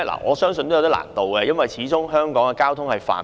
我相信有點難度，因為香港交通非常繁忙。